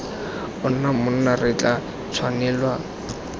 ona monna re tla tshwanelwa